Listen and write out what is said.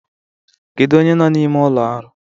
Kedu onye nọ n'ime ụlọ ọrụ?